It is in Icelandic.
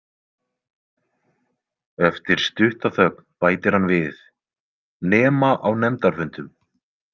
Eftir stutta þögn bætir hann við: Nema á nefndarfundum.